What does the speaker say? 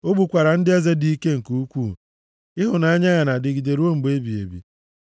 O gbukwara ndị eze dị ike nke ukwuu, Ịhụnanya ya na-adịgide ruo mgbe ebighị ebi.